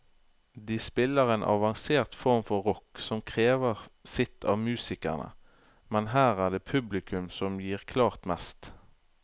De spiller en avansert form for rock som krever sitt av musikerne, men her er det publikum som gir klart mest.